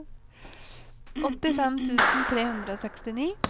åttifem tusen tre hundre og sekstini